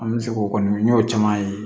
An bɛ se k'o kɔni n y'o caman ye